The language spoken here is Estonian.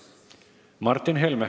Martin Helme.